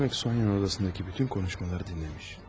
Demək, Sonya'nın otağındakı bütün konuşmaları dinləmiş.